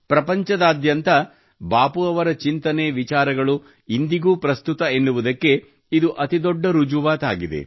ಪ್ರಪಂಚದಾದ್ಯಂತ ಬಾಪೂ ಅವರ ಚಿಂತನೆವಿಚಾರಗಳು ಇಂದಿಗೂ ಪ್ರಸ್ತುತ ಎನ್ನುವುದಕ್ಕೆ ಇದು ಅತಿ ದೊಡ್ಡ ರುಜುವಾತಾಗಿದೆ